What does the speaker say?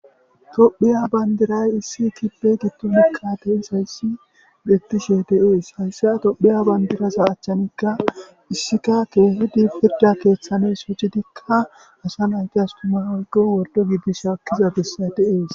tophiya bandiray issi kibbe gidoni kaate isayssi betishe de7es hayssa tophiya bandiraza achchanikka issika keehidi pirda keeththani sochidikka asa naytas tuma woykko wordo gidi shaakkiza bessay de7ees